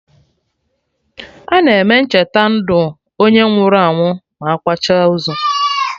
Ana eme Ncheta ndụ onye nwụrụ anwụ ma akwacha ozu